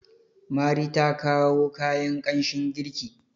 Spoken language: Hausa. mari ta kawo kayan kanshin girki